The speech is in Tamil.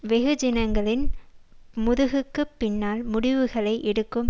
வெகுஜனங்களின் முதுகுக்குப் பின்னால் முடிவுகளை எடுக்கும்